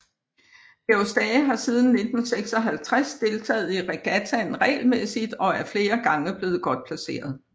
Georg Stage har siden 1956 deltaget i regattaen regelmæssigt og er flere gange blevet godt placeret